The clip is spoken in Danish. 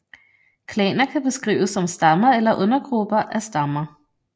Klaner kan beskrives som stammer eller undergrupper af stammer